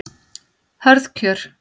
Hörð kjör